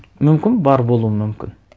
мүмкін бар болуы мүмкін